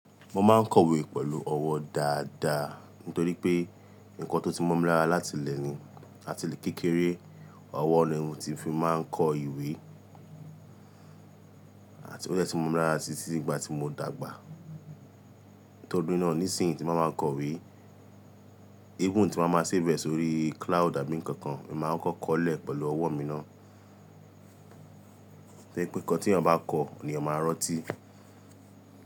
Mo máa ń kọ̀wé pẹ̀lú ọwọ́ dáadáa. Nítorí pé nǹkan tó ti mọ̀ mi lára láti ìlẹ̀ ni, àti ìlé kékeré, ọwọ́ ni mo tí fi máa ń kọ ìwé àti ó de ti mọ̀ mi lára títí ìgbà tí mo dàgbà. Nítorí náà ní ìsinyí tí máa máa kọ̀wé, eégún tí máa máa ṣẹ̀ bẹ̀ sórí cloud àbí ǹkan kan, èmi máa kọ́kọ́ kọ́ọ̀lẹ̀ pẹ̀lú ọwọ́ mi ná. Ṣé pé nǹkan tí èyàn bá kọ, nì yàn máa rọ́tí.